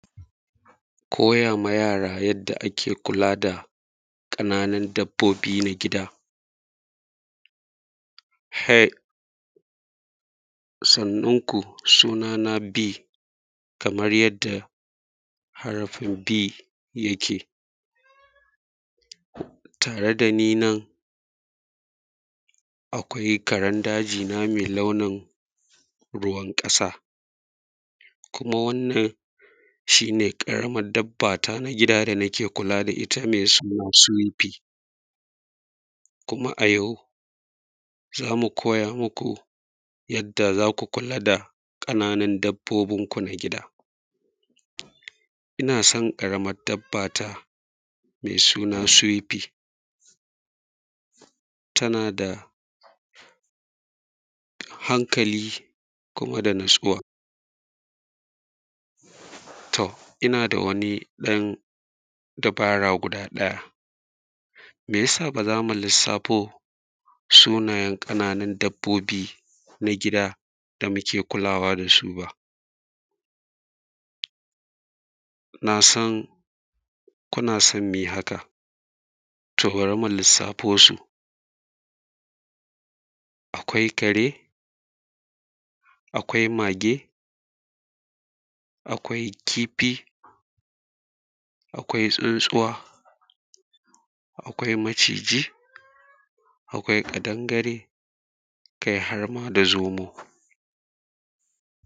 ko:a wa ja:ra jad:a ake ku:la da ƙa:nanun dab:o:bi na gida hej san:un ku su:na na b kamar jad:a harafin b ja ke tare da ni nan akwai karen da:ʤi na mai launin ru:wan ƙa:sa kuma wannan ʃi:ne ƙaramar dab:a ta na gi:da da na ke ku:la da ita mai suna swe:pj kuma a jau za:mu ko:ja muku jad:a za ku kula da ƙananun dab:o:bin ku na gi:da ina son ƙaramar dab:a ta mai suna swe:pj tana da hankali kuma da na:tsu:wa to ina da wani ɗan du:ba:ra guda ɗaja mai ja sa ba za mu lissa:fo sunajen ƙana:nun dabbo:bi na gida da muke ku:la:wa da su ba na san kuna son mu ji haka to bari mu lissa:fo su akwai ka:re akwai ma:ge akwai ki:fi akwai tsuntsuwa akwai maʧiʤi akwai ƙadangare kai harma da zo:mo: